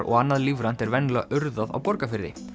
og annað lífrænt er venjulega urðað á Borgarfirði